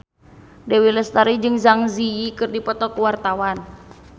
Dewi Lestari jeung Zang Zi Yi keur dipoto ku wartawan